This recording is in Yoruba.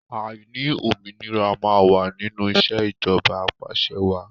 Àìní òmìnira máa wà nínú ìṣèjọba apàṣẹwàá.